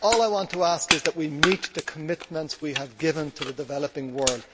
all I want to ask is that we meet the commitments we have given to the developing world.